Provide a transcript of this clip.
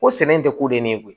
Ko sɛnɛ tɛ koden ne ye koyi